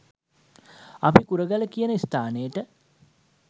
අපි කුරගල කියන ස්ථානයට